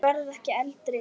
Ég verð ekki eldri.